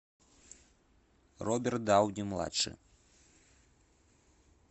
роберт дауни младший